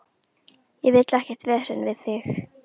Ég vil ekkert vesen við þig.